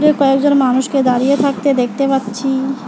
কয়েকজন মানুষকে দাঁড়িয়ে থাকতে দেখতে পাচ্ছি।